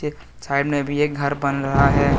शायद में भी एक घर बन रहा है ।